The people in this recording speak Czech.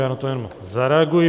Já na to jenom zareaguji.